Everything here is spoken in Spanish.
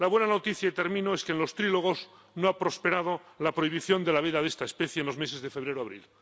La buena noticia —y termino— es que en los trílogos no ha prosperado la prohibición de la veda de esta especie en los meses de febrero a abril